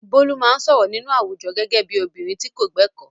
Bolu máa ń sọ̀rọ̀ nínú àwùjọ gẹ́gẹ́ bí obìnrin tí kò gbẹ̀kọ́.